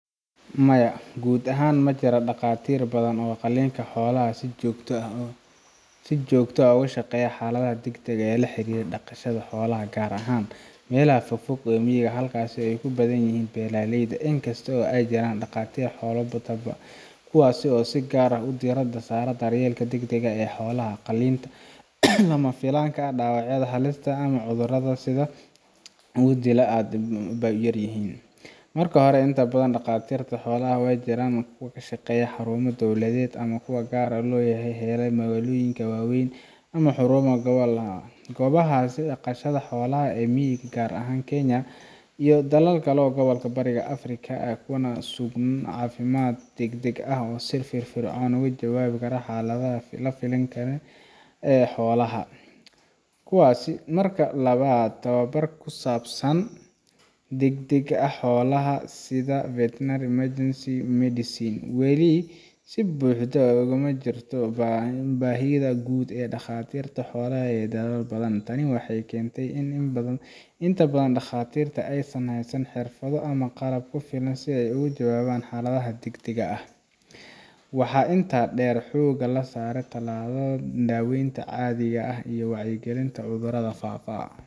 Maya, guud ahaan ma jiraan dhaqaatiir badan oo qalinka xoolaha ah oo si joogto ah uga shaqeeya xaaladaha degdegga ah ee la xiriira dhaqashada xoolaha, gaar ahaan meelaha fog ee miyiga ah halkaas oo ay ku badan yihiin beeraleyda. Inkasta oo ay jiraan dhaqaatiir xoolaha ah oo tababaran, kuwa si gaar ah diiradda u saara daryeelka degdegga ah ee xoolaha sida qalliinada lama filaanka ah, dhaawacyada halista ah, ama cudurrada si dhaqso ah u dila, aad bay u yar yihiin. Marka hore, inta badan dhaqaatiirta xoolaha ee jira waxay ka shaqeeyaan xarumo dowladeed ama kuwa gaar loo leeyahay oo ku yaalla magaalooyinka waaweyn ama xarumaha gobolka. Goobaha dhaqashada xoolaha ee miyiga ah, gaar ahaan Kenya iyo dalalka kale ee gobolka Bariga Afrika, kuma sugna adeegyo caafimaad oo degdeg ah oo si firfircoon uga jawaaba xaaladaha lama filaanka ah ee xoolaha. Marka labaad, tababarka ku saabsan daryeelka degdegga ah ee xoolaha (sida veterinary emergency medicine) weli si buuxda ugama jirto manhajka guud ee dhakhaatiirta xoolaha ee dalal badan. Tani waxay keentay in inta badan dhakhaatiirta aysan haysan xirfado ama qalab ku filan si ay uga jawaabaan xaaladaha degdegga ah. Waxaa inta badan xoogga la saaraa tallaalada, daaweynta caadiga ah, iyo wacyigelinta cudurrada faafa.